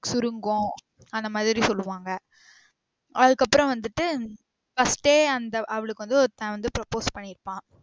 சுருங்கும் அந்த மாதிரி சொல்லுவாங்க அதுக்கு அப்பறம் வந்திட்டு first ஏ அந்த அவளுக்கு வந்து ஒருத்தன் வந்து propose பண்ணிருப்பான்